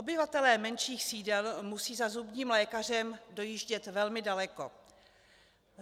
Obyvatelé menších sídel musí za zubním lékařem dojíždět velmi daleko.